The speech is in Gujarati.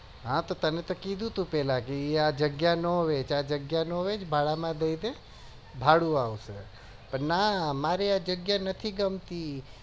હા તો તે તમે તો કીધું હતું ક આ જગ્યા ના વેચઆ જગ્યા નો વેચ ભાડા માં જશે ભાડું આવશે પણ ના મારી આ જગ્યા નથી ગમતી